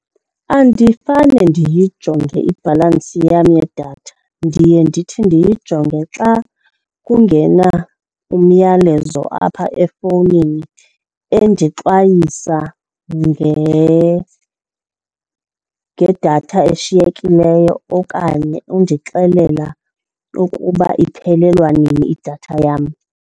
Andifane ndiyijonge ibhalansi yam yedatha ndiye ndithi ndiyijonge xa kungena umyalezo apha efowunini endixwayisa ngedatha eshiyekileyo okanye endixelela ukuba iphelelwa nini idatha yam.